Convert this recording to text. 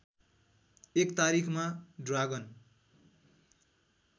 १ तारिखमा ड्रागन